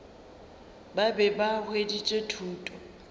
ba be ba hweditše thuto